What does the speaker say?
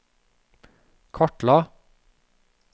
kartla